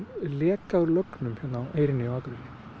leka úr lögnum hérna á Eyrinni á Akureyri